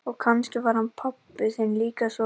Og kannski var hann pabbi þinn líka svoleiðis.